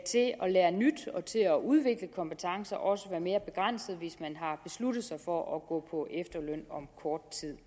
lære nyt og til at udvikle kompetencer også være mere begrænset hvis man har besluttet sig for at gå på efterløn om kort tid